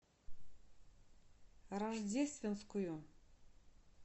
рождественскую